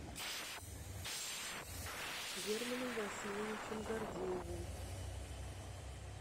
германом васильевичем гордеевым